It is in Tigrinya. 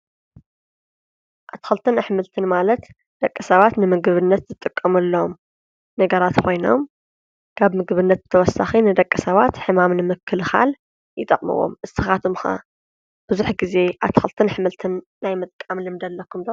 ኣትኸልትን ኣሕምልትን ማለት ደቀ ሰባት ንምግብነት ዝጥቀሙ ኣለዎም ነገራት ኾይኖም ካብ ምግብነት ተወሳኺ ንደቀ ሰባት ሕማም ንምክል ኻል ይጠቕምዎም እስኻቶምኻ ብዙኅ ጊዜ ኣትኸልትን ኣኅምልትን ናይ መጥቃምልምደ ኣለኹም።